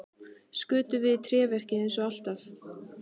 Skutum við í tréverkið eins og alltaf?